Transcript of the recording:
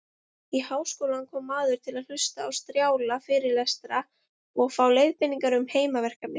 Í háskólann kom maður til að hlusta á strjála fyrirlestra og fá leiðbeiningar um heimaverkefni.